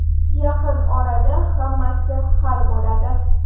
Yaqin orada hammasi hal bo‘ladi.